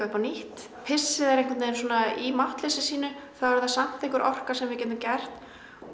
upp á nýtt pissið er í máttleysi sínu einhver orka sem við getum gert